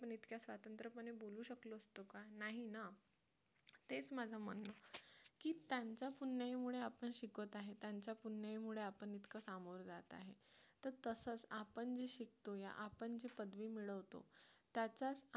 नाही ना तेच माझं म्हणणं की त्यांच्या पुण्याईमुळे आपण शिकत आहे त्यांच्या पुण्याईमुळे आपण इतकं सामोरे जात आहे तर तसंच आपण जे शिकतो किंवा आपण जे पदवी मिळवतो त्याचाच आपण